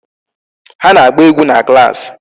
Ha na-agba egwu na klaasị.